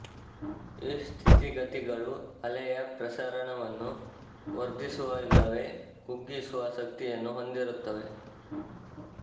ಈ ಸ್ಥಿತಿಗತಿಗಳು ಅಲೆಯ ಪ್ರಸರಣವನ್ನು ವರ್ಧಿಸುವ ಇಲ್ಲವೇ ಕುಗ್ಗಿಸುವ ಶಕ್ತಿಯನ್ನು ಹೊಂದಿರುತ್ತವೆ